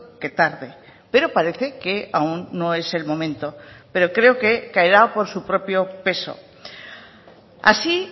que tarde pero parece que aún no es el momento pero creo que caerá por su propio peso así